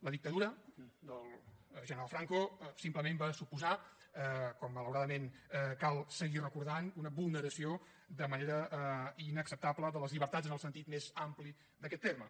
la dictadura del general franco simplement va suposar com malauradament cal seguir recordant una vulneració de manera inacceptable de les llibertats en el sentit més ampli d’aquest terme